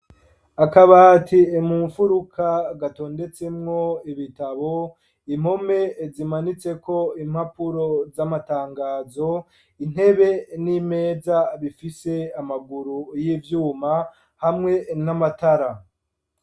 Akabati mumfuruka gatondetsemwo ibitabo, impome zimanitseko impapuro z'amatangazo intebe n'imeza bifise amaguru y'ivyuma hamwe n'amatara.